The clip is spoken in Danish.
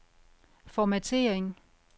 formattering